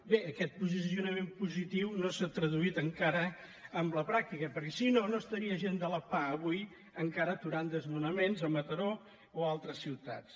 bé aquest posicio·nament positiu no s’ha traduït encara en la pràctica perquè si no no estaria gent de la pah avui encara aturant desnonaments a mataró o a altres ciutats